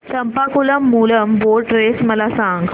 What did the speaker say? Champakulam Moolam boat race मला सांग